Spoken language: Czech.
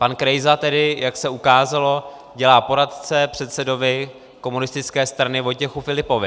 Pan Krejsa tedy, jak se ukázalo, dělá poradce předsedovi komunistické strany Vojtěchu Filipovi.